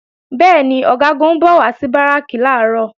Bẹ́ẹ̀ni, Ọ̀gágun ń bọ̀ wá sí Báràkì làárọ̀